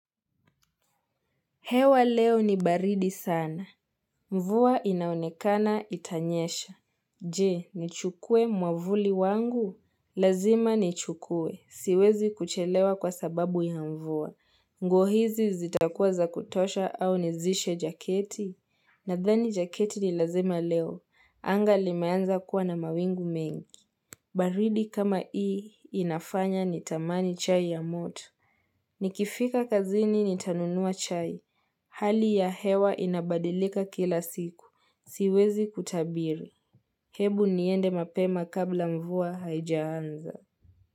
Hewa leo ni baridi sana. Mvua inaonekana itanyesha. Je, nichukue mwavuli wangu? Lazima ni chukue. Siwezi kuchelewa kwa sababu ya mvua. Nguo hizi zita kuwa za kutosha au nizishe jaketi. Nadhani jaketi ni lazima leo. Anga limeanza kuwa na mawingu mengi. Baridi kama hii inafanya ni tamani chai ya moto. Nikifika kazini nitanunua chai. Hali ya hewa inabadilika kila siku. Siwezi kutabiri. Hebu niende mapema kabla mvua haijaanza.